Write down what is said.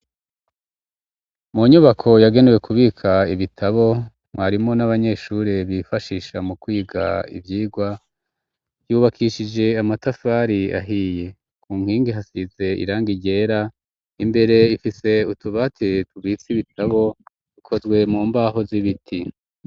Mu nyubako, yagenewe kubika ibitabo, mwarimu n'abanyeshure, bifashisha mu kwiga, ivyigwa, yubakishije amatafari ahiye; ku nkingi hasize irangi ryera, imbere ifise utubati, tubitse ibitabo, dukozwe mu mbaho, z'ibiti.